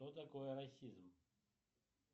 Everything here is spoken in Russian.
что такое расизм